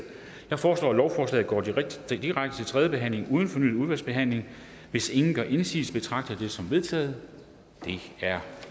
jeg foreslår at lovforslaget går direkte til tredje behandling uden fornyet udvalgsbehandling hvis ingen gør indsigelse betragter jeg det som vedtaget det er